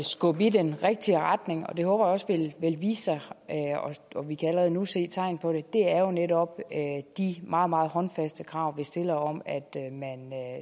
skubbe i den rigtige retning og det håber jeg også vil vise sig og vi kan allerede nu se tegn på det er jo netop de meget meget håndfaste krav vi stiller om at man